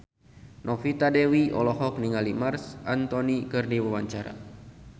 Novita Dewi olohok ningali Marc Anthony keur diwawancara